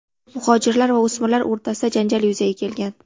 Muhojirlar va o‘smirlar o‘rtasida janjal yuzaga kelgan.